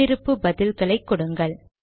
முன்னிருப்பு பதில்களை கொடுங்கள்